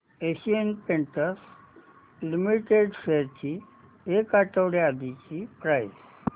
Asian Paints Limited shares ची एक आठवड्या आधीची प्राइस